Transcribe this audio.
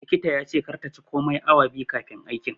likita yace kar ta ci komai awa 2 kaifin aikin.